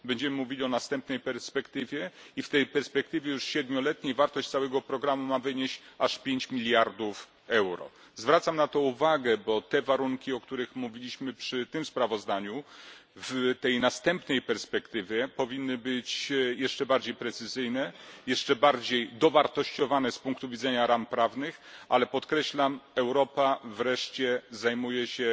Będziemy mówili o następnej perspektywie i w tej perspektywie, już siedmioletniej, wartość całego programu ma wynieść aż pięć miliardów euro. Zwracam na to uwagę, bo warunki, o których mówiliśmy przy tym sprawozdaniu, w następnej perspektywie, powinny być jeszcze bardziej precyzyjne, jeszcze bardziej dowartościowane z punktu widzenia ram prawnych, ale podkreślam Europa wreszcie zajmuje